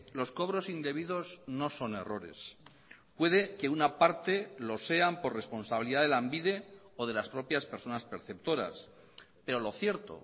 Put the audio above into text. los cobros indebidos no son errores puede que una parte lo sean por responsabilidad de lanbide o de las propias personas perceptoras pero lo cierto